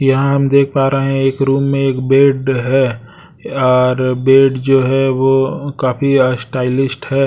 यहां हम देख पा रहे हैं एक रूम में एक बेड है यार बेड जो है वो काफी स्टाइलिस्ट है।